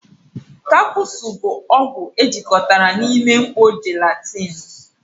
kapusu bụ ọgwụ ejikọtara na ime mkpó jelatini.